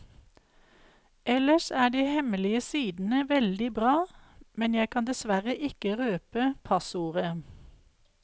Ellers er de hemmelige sidene veldig bra, men jeg kan dessverre ikke røpe passordet.